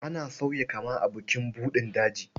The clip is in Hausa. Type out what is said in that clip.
Ana sauya kama a bukin buɗin daji.